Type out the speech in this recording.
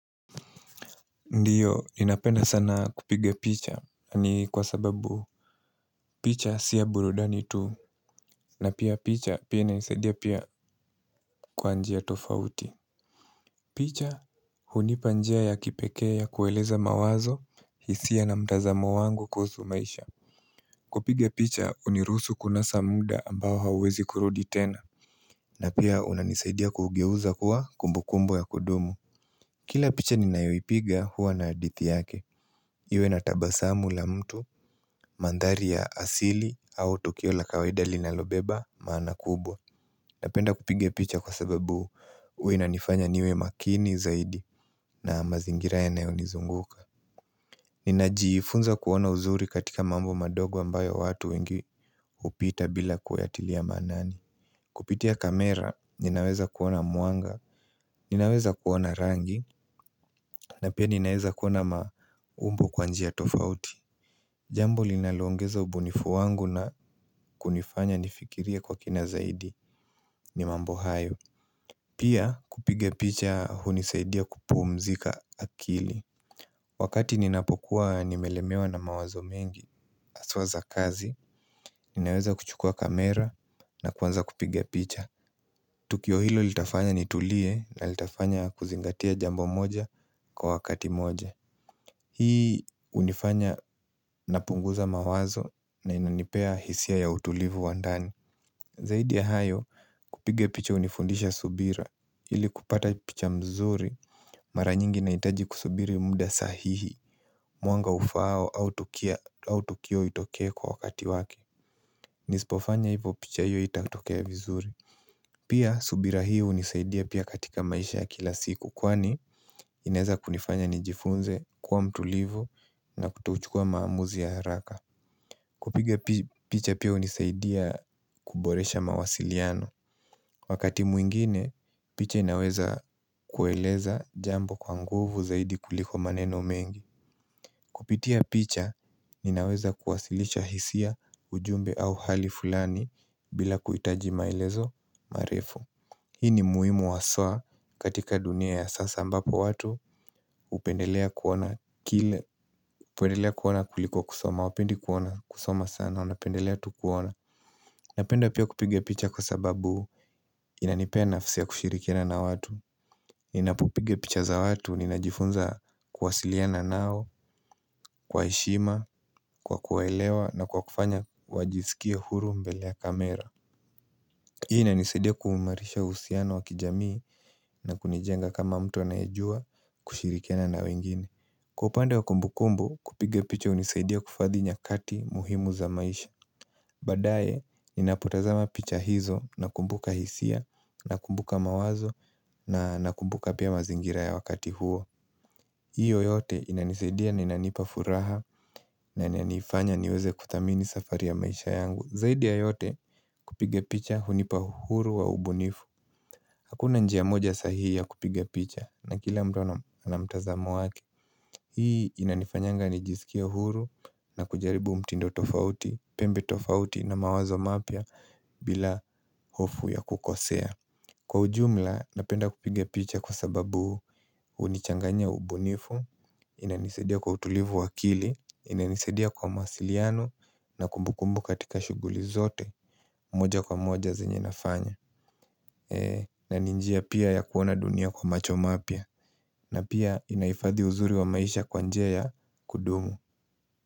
Ndiyo, ninapenda sana kupiga picha, ni kwa sababu picha si ya burudani tu, na pia picha pia inisaidia pia kwa njia tofauti picha, hunipa njia ya kipekee ya kueleza mawazo, hisia na mtazamo wangu kuhusu maisha kupiga picha, huniruhusu kunasa muda ambao hauwezi kurudi tena na pia unanisaidia kuugeuza kuwa kumbukumbu ya kudumu Kila picha ninayoipiga huwa na hadithi yake Iwe na tabasamu la mtu, mandhari ya asili au tokeo la kawaida linalobeba maana kubwa Napenda kupiga picha kwa sababu huwa inanifanya niwe makini zaidi na mazingira yanayo nizunguka Ninajiifunza kuona uzuri katika mambo madogo ambayo watu wengi hupita bila kuyatilia maanani Kupitia kamera ninaweza kuona mwanga, ninaweza kuona rangi na pia ninaweza kuona maumbu kwa njia tofauti Jambo linalo ongeza ubunifu wangu na kunifanya nifikirie kwa kina zaidi ni mambo hayo Pia kupiga picha hunisaidia kupumzika akili Wakati ninapokuwa nimelemewa na mawazo mengi haswa za kazi Ninaweza kuchukua kamera na kuanza kupiga picha Tukio hilo litafanya nitulie na litafanya kuzingatia jambo moja kwa wakati moja Hii hunifanya napunguza mawazo na inanipea hisia ya utulivu wa ndani Zaidi ya hayo kupiga picha hunifundisha subira ili kupata picha mzuri mara nyingi ina hitaji kusubiri muda sahihi Mwanga ufaao au tukio itoke kwa wakati wake Nisipofanya hivo picha hiyo haitatokea vizuri Pia subira hii hunisaidia pia katika maisha ya kila siku Kwani, inaweza kunifanya nijifunze kuwa mtulivu na kuto uchukua maamuzi ya haraka kupiga picha pia hunisaidia kuboresha mawasiliano Wakati mwingine, picha inaweza kueleza jambo kwa nguvu zaidi kuliko maneno mengi Kupitia picha, ninaweza kuwasilisha hisia ujumbe au hali fulani bila kuhitaji maelezo marefu Hii ni muhimu haswa katika dunia ya sasa ambapo watu hupendelea kuona kile hupendelea kuona kuliko kusoma hawapendi kuona kusoma sana wanapendelea tu kuona Napenda pia kupiga picha kwa sababu inanipea nafsi ya kushirikina na watu ninapopiga picha za watu ninajifunza kuwasiliana nao, kwa heshima, kwa kuwaelewa na kwa kufanya wajisikie huru mbele ya kamera Hii inanisaidia kuimarisha uhusiano wa kijamii na kunijenga kama mtu anayejua kushirikiana na wengine. Kwa upande wa kumbu kumbu kupiga picha hunisaidia kuhifadhi nyakati muhimu za maisha. Baadae ninapotazama picha hizo nakumbuka hisia nakumbuka mawazo na nakumbuka pia mazingira ya wakati huo. Hiyo yote inanisaidia na inanipa furaha na inanifanya niweze kudhamini safari ya maisha yangu. Zaidi ya yote kupiga picha hunipa uhuru wa ubunifu Hakuna njia moja sahihi ya kupiga picha na kila mtu ana mtazamo wake Hii inanifanyanga nijisikia huru na kujaribu mtindo tofauti, pembe tofauti na mawazo mapya bila hofu ya kukosea Kwa ujumla napenda kupiga picha kwa sababu hunichanganya ubunifu inanisaidia kwa utulivu wa akili, inanisaidia kwa mawasiliano na kumbukumbu katika shughuli zote moja kwa moja zenye nafanya na ni njia pia ya kuona dunia kwa macho mapya na pia inahifadhi uzuri wa maisha kwa njia ya kudumu.